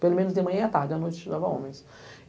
Pelo menos de manhã e à tarde, à noite, estudava homens.